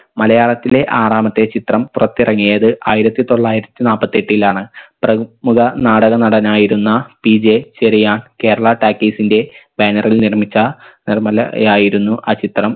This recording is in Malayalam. മലയാളത്തിലെ ആറാമത്തെ ചിത്രം പുറത്തിറങ്ങിയത് ആയിരത്തി തൊള്ളായിരത്തി നാപ്പത്തെട്ടിലാണ് പ്ര മുഖ നാടക നടനായിരുന്ന PJ ചെറിയാൻ കേരള talkies ൻറെ banner ൽ നിർമ്മിച്ച നിർമലയായിരുന്നു ആ ചിത്രം